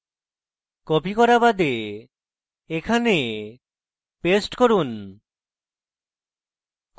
copied করা বাদে এখানে paste করুন